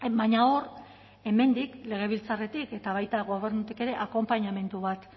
baina hor hemendik legebiltzarretik eta baita gobernutik ere akonpainamendu bat